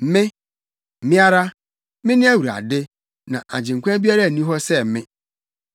Me, Me ara, Mene Awurade, na agyenkwa biara nni hɔ sɛ me.